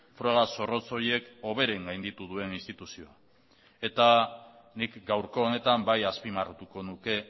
froga zorrotz horiek hoberen gainditu duen instituzioa eta nik gaurko honetan bai azpimarratuko nuke